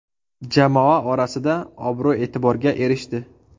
Jamoa orasida obro‘-e’tiborga erishdi.